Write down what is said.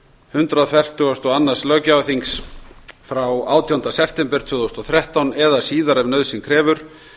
hundrað fertugasta og öðrum löggjafarþings frá átjándu september tvö þúsund og þrettán eða síðar ef nauðsyn krefur